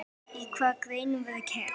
Í hvaða greinum verður keppt?